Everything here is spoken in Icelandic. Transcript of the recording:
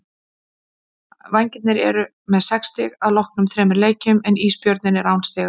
Vængirnir eru með sex stig að loknum þremur leikjum en Ísbjörninn er án stiga.